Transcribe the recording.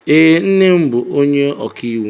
Ee, nne m bụ onye ọka iwu